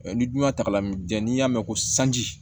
Ni dun y'a ta ka lamini jɛn n'i y'a mɛn ko sanji